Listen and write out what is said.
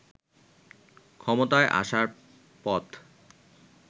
ক্ষমতায় আসার পথ